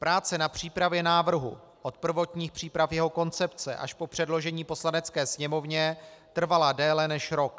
Práce na přípravě návrhu od prvotních příprav jeho koncepce až po předložení Poslanecké sněmovně trvala déle než rok.